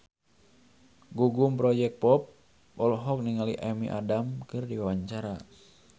Gugum Project Pop olohok ningali Amy Adams keur diwawancara